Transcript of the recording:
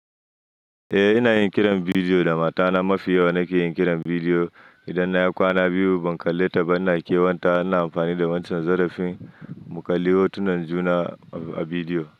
Eh, ina yin kiran bidiyo da matana mafi yawa. Nake yin kiran bidiyo idan na yi kwana biyu ban kalle ta ba, ina kewan ta. Ina amfani da wancan zarafin mu kalli hotunan juna a bidiyo.